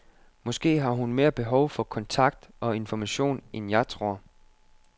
Måske har hun mere behov for kontakt og information end jeg tror.